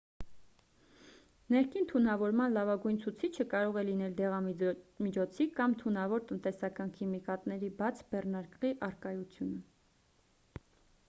ներքին թունավորման լավագույն ցուցիչը կարող է լինել դեղամիջոցի կամ թունավոր տնտեսական քիմիկատների բաց բեռնարկղի առկայությունը